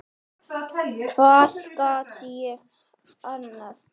Hvað gat ég annað?